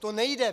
To nejde.